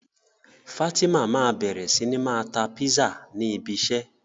Fatima ma bẹrẹ sí ní ma ta Písà ni ibi isẹ́